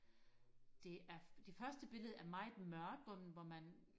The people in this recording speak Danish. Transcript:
det er det første billede er meget mørkt hvor hvor man